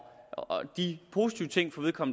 de positive ting